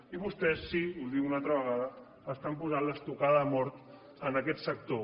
i vostès sí ho dic una altra vegada estan posant l’estocada de mort en aquest sector